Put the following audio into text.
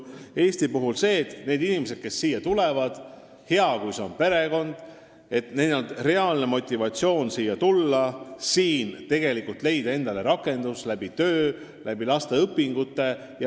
Eesti soov on, et inimestel, kes siia tulevad – hea, kui tegu on perekonnaga –, on reaalne motivatsioon siia tulla, siin endale rakendus leida läbi töö, läbi laste õpingute.